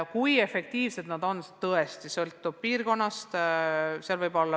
Kui efektiivsed nad on, sõltub piirkonnast.